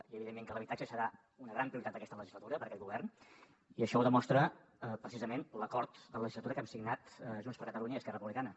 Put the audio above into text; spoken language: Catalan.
i evidentment que l’habitatge serà una gran prioritat d’aquesta legislatura per a aquest govern i això ho demostra precisament l’acord de legislatura que hem signat junts per catalunya i esquerra republicana